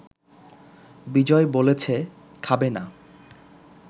বিজয় বলেছে, খাবে না